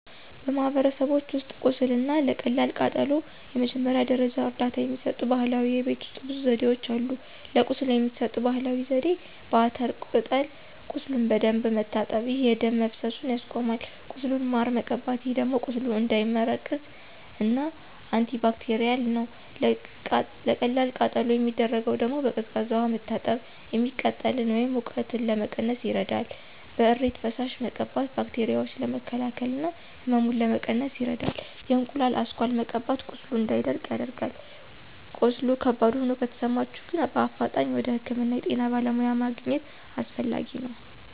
በማህበረሰቦች ውስጥ ቁስል እና ለቀላል ቃጠሎ የመጀመሪያ ደረጃ እርዳታ የሚሰጡ ባህላዊ የቤት ውሰጥ ብዙ ዘዴዎች አሉ። ለቁስል የሚሰጠው ባህላዊ ዜዴ፦ በአተር ቅጠል ቁሱሉን በደንብ መታጠብ፣ ይህ የደም መፈሰሱን ያስቆማል። ቁስሉን ማር መቀባት ይህ ደግሞ ቁስሉ እንዳይመረቅዝ እና አንቲባክቴርል ነው። ለቀላል ቃጠሎ የሚደረገው ደግሞ፦ በቀዝቃዛ ውሃ መታጠብ፤ የሚቃጥለን ወይም ሙቀቱን ለመቀነስ ይረዳል። በእሬት ፈሳሽ መቀባት ባክቴራዎችን ለመከላከል እና ህመሙን ለመቀነስ ይረዳል። የእንቁላሉ አስኳል መቀባት ቁስሉ እንዳይደርቅ ያደርጋል። ቀስሉ ከባድ ሆኖ ከተሰማቸሁ ግን በአፋጣኝ ወደ ህክምና የጤና በለሙያ ማግኝት አሰፈላጊ ነው።